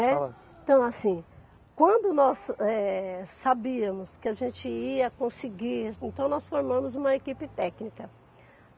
Então, assim, quando nós, eh, sabíamos que a gente ia conseguir, então nós formamos uma equipe técnica.